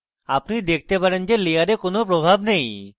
আপনি দেখতে পারেন যে layer কোনো প্রভাব নেই